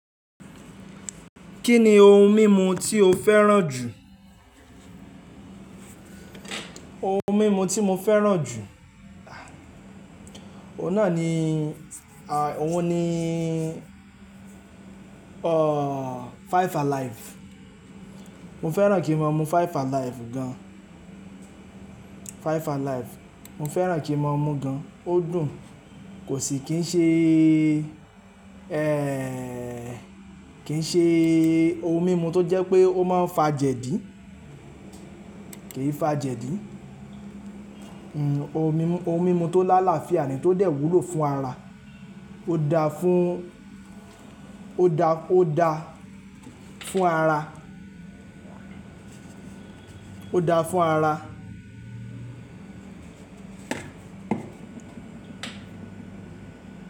Kí ni ohun mímu tí o fẹ́ràn jù? Ohun mímu tí mo fẹ́ràn jù, ohun náà ni, ohun ni, Five Alive. Mo fẹ́ràn kí n mon mú Five Alive gan. Five Alive. Mo fẹ́ràn kí n mon mú gan, ó dùn. Kò sì kí n ṣe, kí n ṣe ohun mímu tó jẹ́ pé ó máa ń fa jẹ̀dí, kì í fa jẹ̀dí. Ohun mímu tó lálàáfíà ni tó dẹ̀ wúlò fún ara. Ó da fún, ó da, ó da fún ara. Ó da fún ara.